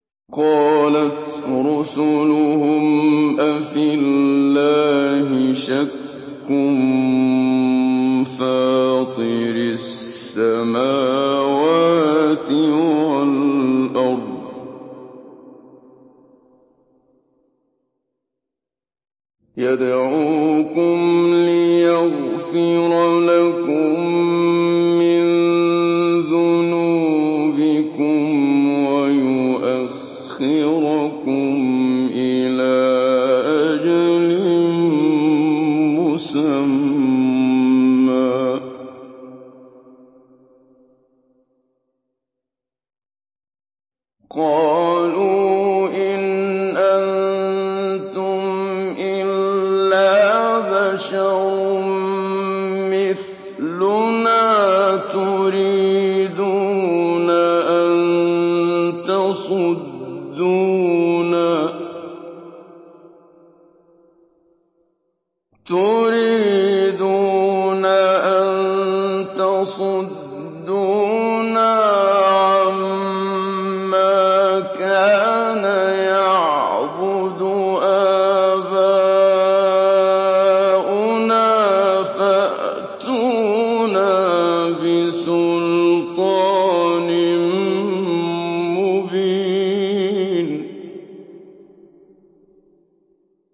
۞ قَالَتْ رُسُلُهُمْ أَفِي اللَّهِ شَكٌّ فَاطِرِ السَّمَاوَاتِ وَالْأَرْضِ ۖ يَدْعُوكُمْ لِيَغْفِرَ لَكُم مِّن ذُنُوبِكُمْ وَيُؤَخِّرَكُمْ إِلَىٰ أَجَلٍ مُّسَمًّى ۚ قَالُوا إِنْ أَنتُمْ إِلَّا بَشَرٌ مِّثْلُنَا تُرِيدُونَ أَن تَصُدُّونَا عَمَّا كَانَ يَعْبُدُ آبَاؤُنَا فَأْتُونَا بِسُلْطَانٍ مُّبِينٍ